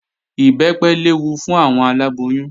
Ìbẹ́pẹ léwu fún àwọn aláboyún